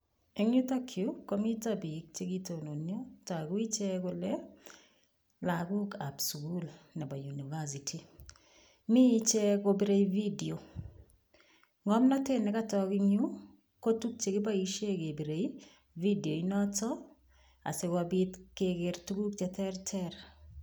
Eng yutokyu komito piik chekitononio. Togu ichek kole lagokab sugul nebo university. Mi ichek kopirei video. Ng'omnotet nekatok engyu, ko tukchekiboishe kepirei videoinotok asikopit keker tuguk che terter.